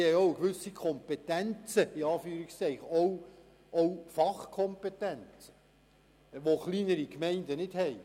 diese haben auch gewisse «Kompetenzen», auch Fachkompetenzen, welche kleinere Gemeinden nicht haben.